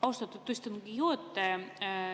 Austatud istungi juhataja!